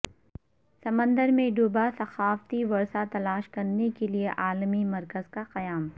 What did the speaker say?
سمندر میں ڈوبا ثقافتی ورثہ تلاش کرنے کے لیے عالمی مرکز کا قیام